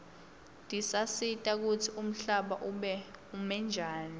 tisatisa kutsi umhlaba ume njani